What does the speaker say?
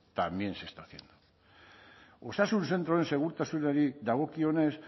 también se está haciendo osasun zentroen segurtasunari dagokionez